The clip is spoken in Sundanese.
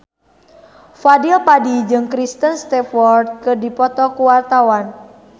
Fadly Padi jeung Kristen Stewart keur dipoto ku wartawan